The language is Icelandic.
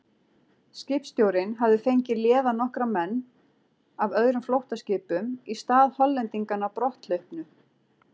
Skipstjórinn hafði fengið léða nokkra menn af öðrum flóttaskipum í stað Hollendinganna brotthlaupnu.